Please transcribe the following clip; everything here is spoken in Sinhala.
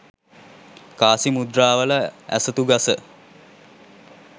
කාසි මුද්‍රාවල ඇසතු ගස